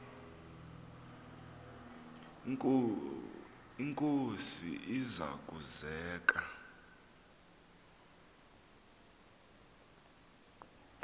inkosi iza kuzek